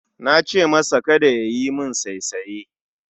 Nace masa Kada yayi min saisaye